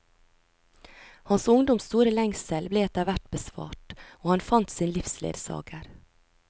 Hans ungdoms store lengsel ble etter hvert besvart, og han fant sin livsledsager.